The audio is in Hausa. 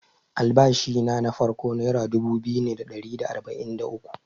Albashina na farko nera dubu biyu ne da ɗari da arba’in da uku.